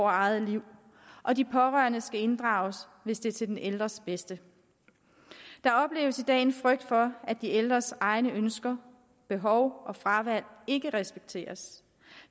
eget liv og de pårørende skal inddrages hvis det er til den ældres bedste der opleves i dag en frygt for at de ældres egne ønsker behov og fravalg ikke respekteres